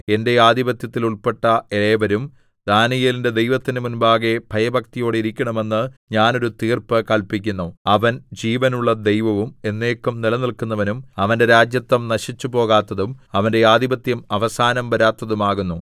എന്റെ ആധിപത്യത്തിൽ ഉൾപ്പെട്ട ഏവരും ദാനീയേലിന്റെ ദൈവത്തിന്റെ മുമ്പാകെ ഭയഭക്തിയോടിരിക്കണമെന്ന് ഞാൻ ഒരു തീർപ്പ് കല്പിക്കുന്നു അവൻ ജീവനുള്ള ദൈവവും എന്നേക്കും നിലനില്‍ക്കുന്നവനും അവന്റെ രാജത്വം നശിച്ചുപോകാത്തതും അവന്റെ ആധിപത്യം അവസാനം വരാത്തതും ആകുന്നു